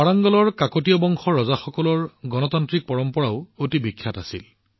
ৱাৰাংগলৰ কাকতীয়া ৰাজবংশৰ ৰজাসকলৰ গণতান্ত্ৰিক পৰম্পৰাও অতি বিখ্যাত আছিল